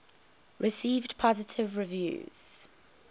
received positive reviews